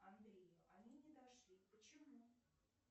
андрею они не дошли почему